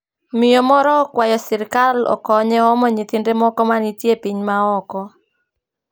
Miyo moro okwayo sirkal okonye omo nyithinde moko ma nitie piny ma oko